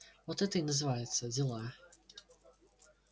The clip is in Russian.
вот это и называется дела